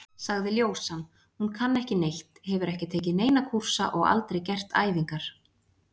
sagði ljósan, hún kann ekki neitt, hefur ekki tekið neina kúrsa og aldrei gert æfingar!